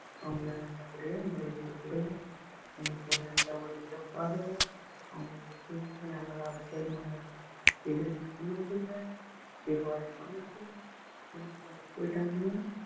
அவங்களை நல்லபடியா மரியாதை குடுங்க அவங்களுக்கு ஒரு நல்ல ஒரு இதை பாருங்க அவங்களுடைய பண்ணாதீங்க ஏன்னா அவங்க போய்ட்டாங்கன்னா